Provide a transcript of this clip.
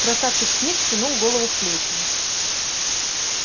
красавчик смит втянул голову в плечи